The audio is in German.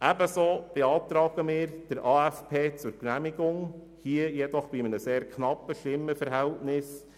Ebenso beantragen wir Ihnen den AFP zur Genehmigung, jedoch bei einem sehr knappen Stimmenverhältnis.